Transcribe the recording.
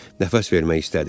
Nəfəs vermək istədi.